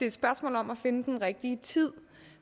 et spørgsmål om at finde den rigtige tid